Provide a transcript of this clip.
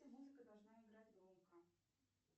музыка должна играть громко